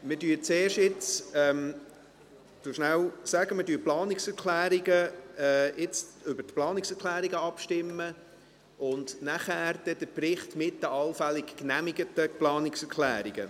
Wir stimmen nun zuerst über die Planungserklärungen ab und danach über den Bericht mit den allfällig genehmigten Planungserklärungen.